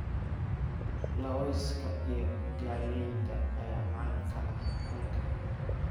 Lawska iyo galleyda ayaa caan ka ah halkan.